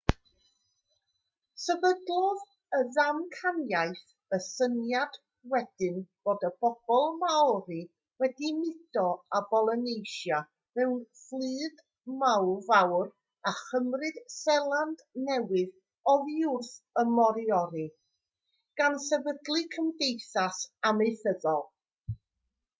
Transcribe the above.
sefydlodd y ddamcaniaeth y syniad wedyn fod y bobl maori wedi mudo o bolynesia mewn fflyd fawr a chymryd seland newydd oddi wrth y moriori gan sefydlu cymdeithas amaethyddol